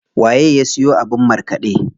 Waye ya siyo abin markaɗe?